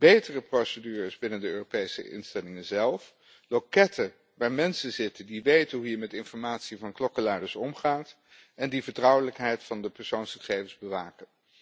Betere procedures binnen de Europese instellingen zelf, loketten waar mensen zitten die weten hoe je met informatie van klokkenluiders omgaat en die de vertrouwelijkheid van de persoonsgegevens bewaken.